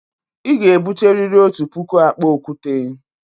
Ị ga-ebute riri otu puku akpa okwute!